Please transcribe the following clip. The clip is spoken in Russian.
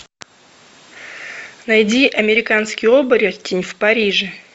найди американский оборотень в париже